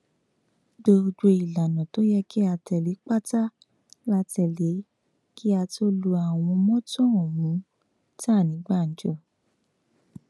gbogbo ìlànà tó yẹ kí a tẹlé pátá la tẹlé kí a tóó lu àwọn mọtò ọhún ta ní gbàǹjo